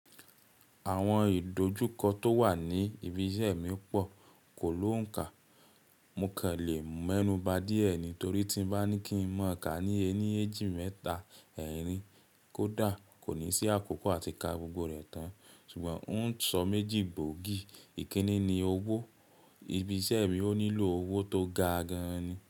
Àwọn ìdojúkọ tó wà ní ibi iṣẹ́ mi pọ̀ kò lóǹkà. Mo kàn lè mọ́núba díẹ̀ ni torí tí mo bá ní kí n mọ kà ní ẹní, èjì, mẹ́ta, ẹ́rìn, kódà kò ní sí àkókò àti ká gbogbo rẹ̀ tán. Ṣùgbọ́n ó ń sọ méjì gboogì. Ìkíni ni owó. Ibi iṣẹ́ mi ó nílò owó tó ga gan-an ni.